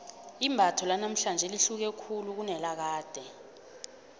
imbatho lanamhlanje lihluke khulu kunelakade